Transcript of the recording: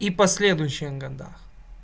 и последующие года